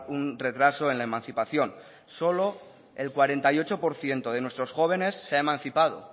un retraso en la emancipación solo el cuarenta y ocho por ciento de nuestros jóvenes se ha emancipada